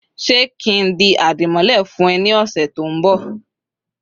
se kin di adimole fun eee ni ose to nbo?